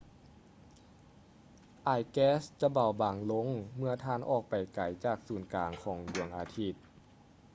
ອາຍແກັສຈະເບົາບາງລົງເມື່ອທ່ານອອກໄປໄກຈາກສູນກາງຂອງດວງອາທິດ